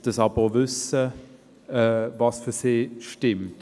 dass sie aber auch wissen, was für sie stimmt.